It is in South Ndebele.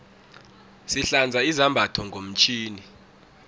sihlanza izambatho ngomtjhini